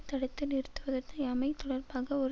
தடுத்து நிறுத்துவத்யாமை தொடர்பாக ஒரு